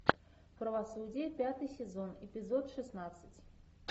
правосудие пятый сезон эпизод шестнадцать